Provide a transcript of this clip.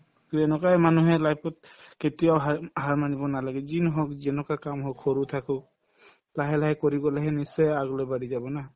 to এনেকুৱাই মানুহে life ত কেতিয়াও হাৰ হাৰ মানিব নালাগে যি নহওক যেনেকুৱা কাম হওক সৰু থাকক লাহে লাহে কৰি গলেহে নিশ্চয় আগলৈ বাঢ়ি যাব না